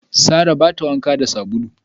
Sarrah ba ta wanka da sabulu.